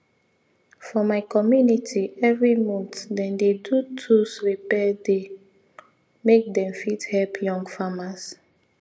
for my community every month them dey do tools repair day make them fit help young famers